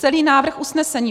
Celý návrh usnesení